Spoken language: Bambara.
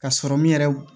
Ka sɔrɔ min yɛrɛ